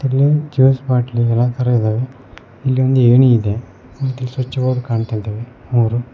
ಇಲ್ಲಿ ಜ್ಯೂಸ್ ಬಾಟ್ಲಿಗಳ ತರ ಇದಾವೆ ಇಲ್ಲೊಂದು ಏಣಿ ಇದೆ ಮತ್ತೆ ಸ್ವಿಚ್ ಬೋರ್ಡ್ ಕಾಣ್ತಾಯಿದಾವೆ ಮೂರು--